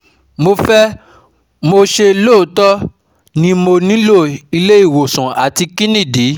Mo fe mo se loto ni mo nilo ile iwosan ati kini idi